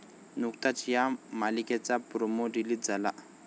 नुकताच या मालिकेचा प्रोमो रिलीज झाला.